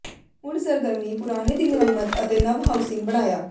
ਹੁਣ ਸਰਗਰਮੀ ਪੁਰਾਣੇ ਦੀ ਮੁਰੰਮਤ ਅਤੇ ਨਵ ਹਾਊਸਿੰਗ ਬਣਾਇਆ